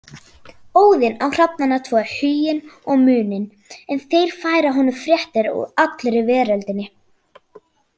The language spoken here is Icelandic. Óðinn á hrafnana tvo Huginn og Muninn en þeir færa honum fréttir úr allri veröldinni.